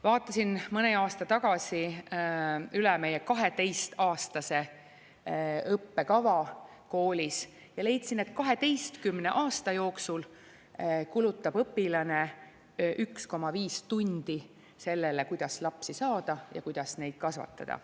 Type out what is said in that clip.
Vaatasin mõni aasta tagasi üle meie 12-aastase õppekava koolis ja leidsin, et 12 aasta jooksul kulutab õpilane 1,5 tundi sellele,, kuidas lapsi saada ja kuidas neid kasvatada.